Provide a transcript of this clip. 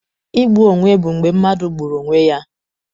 Igbu onwe bụ mgbe mmadụ gburu onwe ya.